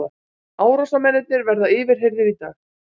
Árásarmennirnir verða yfirheyrðir í dag